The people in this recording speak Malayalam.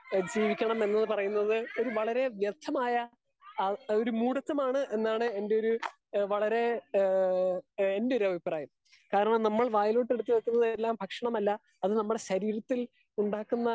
സ്പീക്കർ 2 ജീവിക്കണം എന്ന് പറയുന്നത് വളെരെ വ്യക്തമായ ആ ഒരുമോടേതമാണ് എന്ന് എന്റെ ഒര് വളരെ ഏഹ് എന്റെ ഒര് അഭിപ്രായം. കാരണം നമ്മൾ വായിലോട്ടു എടുത്ത് വെക്കുന്നത് എല്ലാ ഭക്ഷണ മല്ല. അത് നമ്മുടെ ശരീരത്തിൽ ഉണ്ടാക്കുന്ന